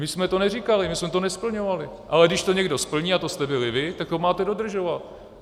My jsme to neříkali, my jsme to nesplňovali, ale když to někdo řekne, a to jste byli vy, tak to máte dodržovat.